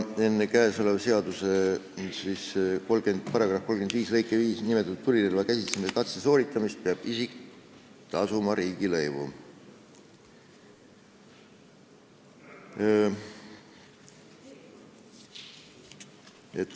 Enne käesoleva seaduse § 35 lõikes 5 nimetatud tulirelva käsitsemise katse sooritamist peab isik tasuma riigilõivu.